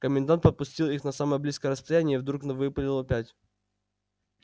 комендант подпустил их на самое близкое расстояние и вдруг выпалил опять